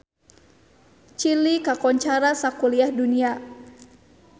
Chili kakoncara sakuliah dunya